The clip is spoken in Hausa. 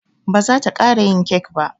Ba zata ƙara yin kek ba.